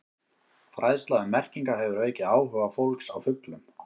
Fræðsla um merkingar hefur aukið áhuga fólks á fuglum.